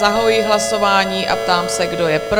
Zahajuji hlasování a ptám se, kdo je pro?